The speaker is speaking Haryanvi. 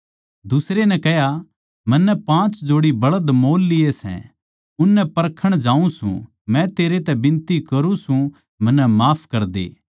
दुसरे नै कह्या मन्नै पाँच जोड़े बळध मोल लिए सै उननै परखण जाऊँ सूं मै तेरै तै बिनती करूँ सूं मन्नै माफ करदे